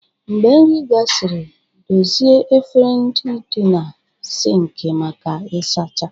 Mgbe nri gasịrị, dozie efere ndị dị na siinki maka ịsacha.